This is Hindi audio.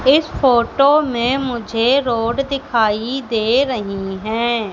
इस फोटो में मुझे रोड दिखाई दे रहीं हैं।